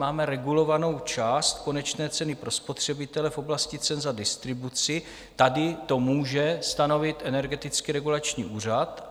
Máme regulovanou část konečné ceny pro spotřebitele v oblasti cen za distribuci, tady to může stanovit Energetický regulační úřad.